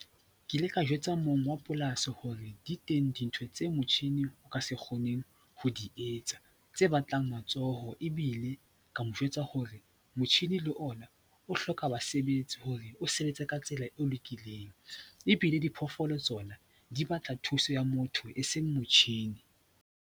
Ke ile ka jwetsa mong wa polasi hore di teng dintho tse motjhini o ka se kgoneng ho di etsa tse batlang matsoho ebile ka mo jwetsa hore motjhini le ona o hloka basebetsi hore o sebetse ka tsela e lokileng, ebile diphoofolo tsona di batla thuso ya motho e seng motjhini.